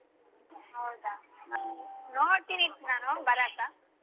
ಹೌದಾ ನೋಡ್ತೀನಿ ನಾನು ಬರಾಕ್.